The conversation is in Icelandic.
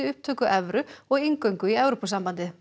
upptöku evru og inngöngu í Evrópusambandið